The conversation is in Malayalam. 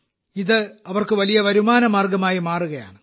ഇത് അവർക്ക് വലിയ വരുമാന മാർഗമായി മാറുകയാണ്